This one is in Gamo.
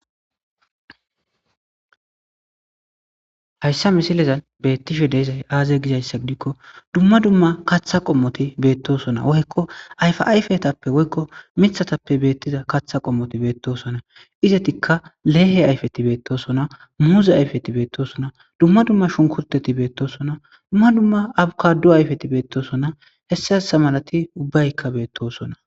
Hayssa misilezan beettishe deezay aaze gizayssa gidikko dumma dumma kaththa qommoti beettosona woykko ayfa ayfetappe woykko mithatappe beettiza kaththa qommoti beettosona izetikka leehe ayfeti beettosona muuze ayfeti beettosona dumma dumma shunkurteti beettosona dumma dumma abukadu ayfeti beettosona hessa hessa malati ubbaykka beettosona.